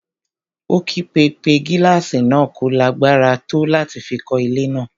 Ó kígbe pé gílàsì náà kò lágbára tó láti fi kọ́ ilé náà.